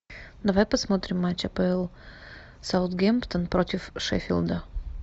давай посмотрим матч апл саутгемптон против шеффилда